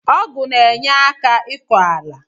Ọgụ na enyeka ịkọ ala.